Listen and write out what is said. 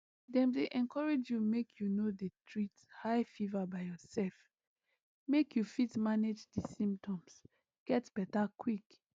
dem dey encourage you make you no dey treat high fever by yourself make you fit manage di symptoms get beta quick